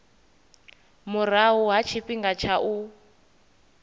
murahu ha tshifhinga tsha u